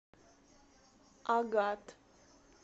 агат